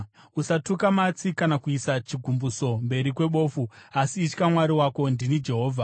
“ ‘Usatuka matsi kana kuisa chigumbuso mberi kwebofu, asi itya Mwari wako. Ndini Jehovha.